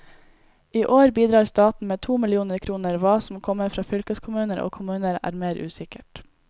I år bidrar staten med to millioner kroner, hva som kommer fra fylkeskommuner og kommuner, er mer usikkert.